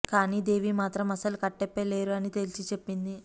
కానీ దేవి మాత్రం అసలు కట్టప్పే లేరు అని తేల్చి చెప్పింది